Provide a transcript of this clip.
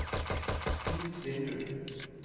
nytt vindu